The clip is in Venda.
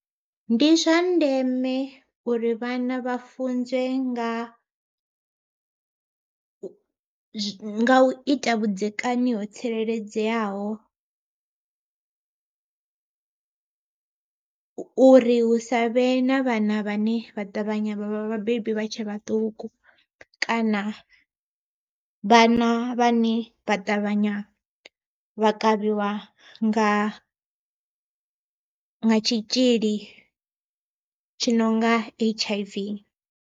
Ndi zwa ndeme uri vhana vha funzwe nga, nga u ita vhudzekani ho tsireledzeaho uri hu sa vhe na vhana vhane vha ṱavhanya vhavha vhabebi vha tshe vhaṱuku. Kana vhana vhane vha ṱavhanya vha kavhiwa nga tshitzhili tshi nonga H_I_V.